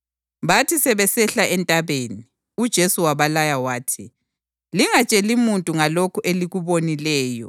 Bathi sebesehla entabeni, uJesu wabalaya wathi, “Lingatsheli muntu ngalokhu elikubonileyo iNdodana yoMuntu ize ivuswe kwabafileyo.”